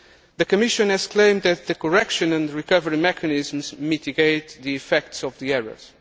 The Commission has claimed that the correction and recovery mechanisms mitigate the effects of the errors.